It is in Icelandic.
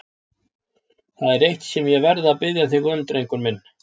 Það er eitt sem ég verð að biðja þig um, drengurinn minn.